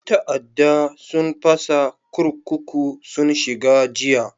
Yan ta'adda sun fasa kurkuku sun shiga jiya.